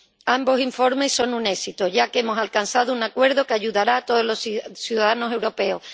Ambos informes son un éxito, ya que hemos alcanzado un acuerdo que ayudará a todos los ciudadanos europeos.